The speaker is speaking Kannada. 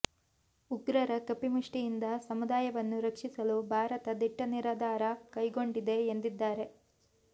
ಉಗ್ರರ ಕಪಿಮುಷ್ಟಿಯಿಂದ ಸಮುದಾಯವನ್ನು ರಕ್ಷಿಸಲು ಭಾರತ ದಿಟ್ಟ ನಿರ್ಧಾರ ಕೈಗೊಂಡಿದೆ ಎಂದಿದ್ದಾರೆ